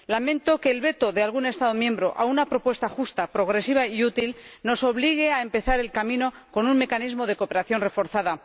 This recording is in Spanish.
Lamento que el veto de algún Estado miembro a una propuesta justa, progresiva y útil nos obligue a empezar el camino con un mecanismo de cooperación reforzada.